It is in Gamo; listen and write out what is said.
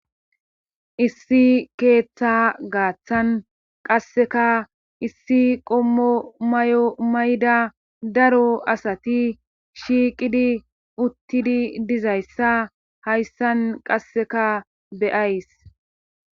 issi keeththa gaaththan qasseka issi qommo mayo mayda daro asati shiiqidi uttidi dizayssa hayssan qasseka beyays